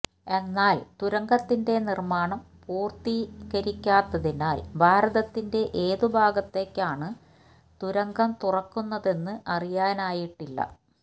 എന്നാല് തുരങ്കത്തിന്റെ നിര്മാണം പൂര്ത്തീകരിക്കാത്തതിനാല് ഭാരതത്തിന്റെ ഏതുഭാഗത്തേയ്ക്കാണ് തുരങ്കം തുറക്കുന്നതെന്ന് അറിയാനായിട്ടില്ല